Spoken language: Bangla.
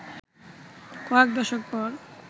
কয়েক দশক পর